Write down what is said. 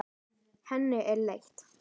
Henni er létt.